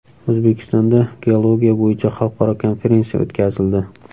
O‘zbekistonda geologiya bo‘yicha xalqaro konferensiya o‘tkazildi.